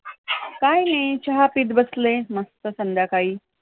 काय हे! चहा पित बसलेय, मस्त संध्याकाळी!